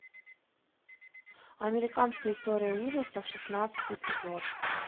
американская история ужасов шестнадцатый эпизод